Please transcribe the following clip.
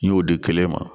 N y'o di kɛlɛ ma